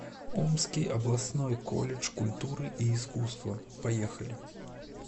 омский областной колледж культуры и искусства поехали